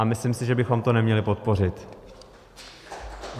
A myslím si, že bychom to neměli podpořit.